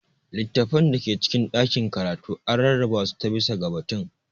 Littattafan da ke cikin ɗakin karatu an rarraba su ta/bisa ga batun.